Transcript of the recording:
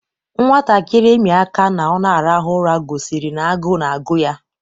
Nwatakịrị imi aka ná ọ n'arahu ụra gosiri n'agu na-agụ ya